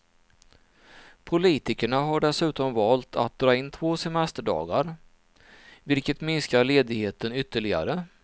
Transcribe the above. Politikerna har dessutom valt att dra in två semesterdagar, vilket minskar ledigheten ytterligare.